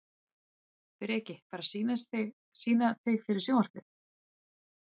Breki: Bara að sýna þig fyrir sjónvarpið?